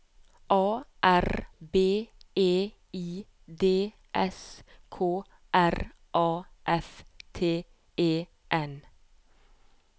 A R B E I D S K R A F T E N